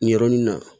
Nin yɔrɔnin na